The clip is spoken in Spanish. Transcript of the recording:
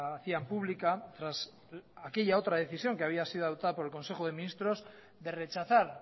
hacían pública tras aquella otra decisión que había sido adoptada por el consejo de ministros de rechazar